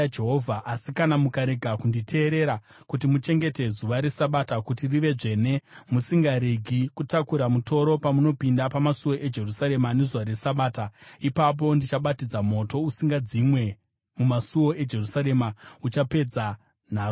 Asi kana mukarega kunditeerera kuti muchengete zuva reSabata kuti rive dzvene, musingaregi kutakura mutoro pamunopinda pamasuo eJerusarema nezuva reSabata, ipapo ndichabatidza moto usingadzimwe mumasuo eJerusarema uchapedza nharo dzaro.’ ”